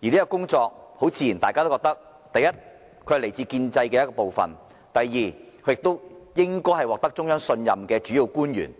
自然認為第一，這份工作屬建制的一部分；第二，他應該是獲得中央信任的主要官員。